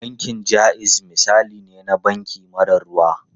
Bankin Jaiz misali ne na banki mara ruwa.